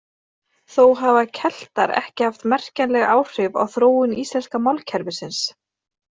Þó hafa Keltar ekki haft merkjanleg áhrif á þróun íslenska málkerfisins.